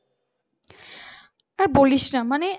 আর বলিসনা মানে